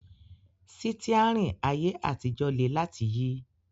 Sítíárìn ayé àtijọ́ le láti yí